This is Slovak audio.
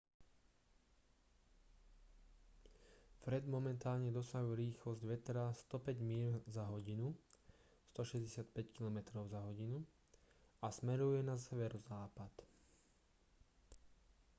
fred momentálne dosahuje rýchlosť vetra 105 míľ za hodinu 165 km/h a smeruje na severozápad